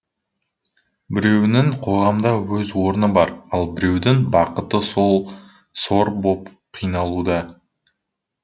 біреуінің қоғамда өз орны бар ал біреудің бақыты сор боп қиналуда